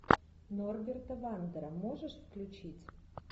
норберта вандера можешь включить